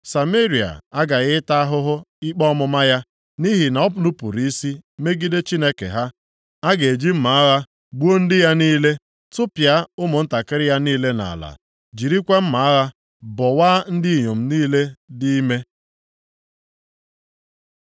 Sameria aghaghị ịta ahụhụ ikpe ọmụma ya, nʼihi na o nupuru isi megide Chineke ha. A ga-eji mma agha gbuo ndị ya niile, tụpịa ụmụntakịrị ya niile nʼala, jirikwa mma agha bọwaa ndị inyom niile dị ime.”